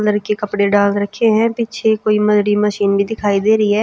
Colour के कपड़े डाल रखे हैं पीछे कोई मशीन भी दिखाई दे रही है।